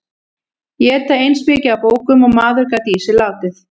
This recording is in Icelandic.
Éta eins mikið af bókum og maður gat í sig látið.